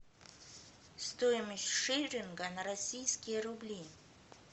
стоимость шиллинга на российские рубли